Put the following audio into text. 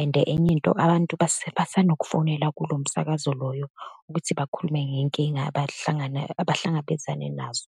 and enye into, abantu basanokufonela kulo msakazo loyo ukuthi bakhulume ngeyinkinga abahlangana, abahlangabezane nazo.